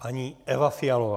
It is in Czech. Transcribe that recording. Paní Eva Fialová.